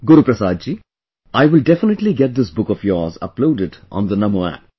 Guruprasad ji, I will definitely get this book of yours uploaded on the Namo App